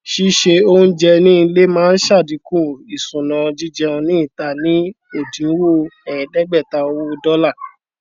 sísè oúnjẹ ní ilé máa ṣàdínkù ìṣúná jíjẹun ní ìta ní òdiwọn ẹẹdẹgbẹta owó dọlà